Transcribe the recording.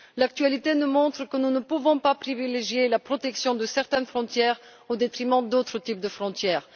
L'actualité nous montre que nous ne pouvons pas privilégier la protection de certaines frontières au détriment d'autres types de frontières.